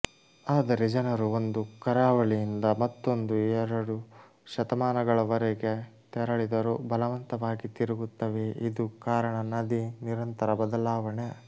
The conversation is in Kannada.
ಆದರೆ ಜನರು ಒಂದು ಕರಾವಳಿಯಿಂದ ಮತ್ತೊಂದು ಎರಡು ಶತಮಾನಗಳವರೆಗೆ ತೆರಳಿದರು ಬಲವಂತವಾಗಿ ತಿರುಗುತ್ತವೆ ಇದು ಕಾರಣ ನದಿ ನಿರಂತರ ಬದಲಾವಣೆ